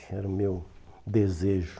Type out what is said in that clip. Era o meu desejo.